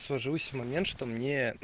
сложилось в момент что мне